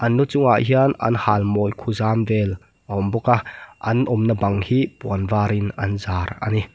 an lu chungah hian an halmawi khuzam vel a awmbawk a an awmna bang hi puan varin an zar a ni.